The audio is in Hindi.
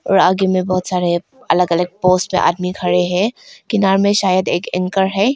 और आगे में बहुत सारे अलग अलग पोज में आदमी खड़े हैं किनारे में शायद एक एंकर है।